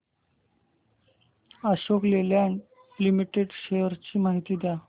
Ashok Leyland Limited shares ची माहिती द्या